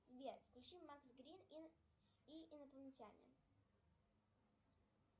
сбер включи макс грин и инопланетяне